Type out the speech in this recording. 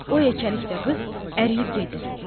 O yekəlikdə qız əriyib gedir.